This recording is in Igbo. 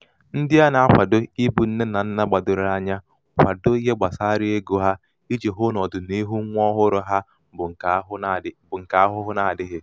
ndị à nā-akwado ịbụ̄ nne nà nnà gbàdòrò anya kwadoo ihe gbàsara egō hā ijì hụ nà ọ̀dị̀niihu nwa ọhụrụ̄ ha bụ ṅ̀kè ahụhụ adị̄ghị̀.